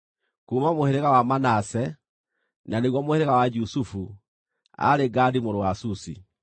kuuma mũhĩrĩga wa Manase (na nĩguo mũhĩrĩga wa Jusufu), aarĩ Gadi mũrũ wa Susi;